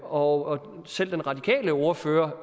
og selv den radikale ordfører